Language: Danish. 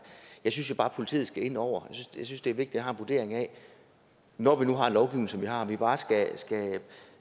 jeg synes jo bare at politiet skal ind over jeg synes det vigtigt at have en vurdering af når vi nu har en lovgivning som vi har om man bare